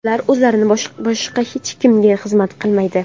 Ular o‘zlaridan boshqa hech kimga xizmat qilmaydi.